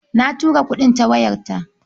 Na tura kuɗin ta wayarta.